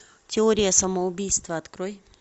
теория самоубийства открой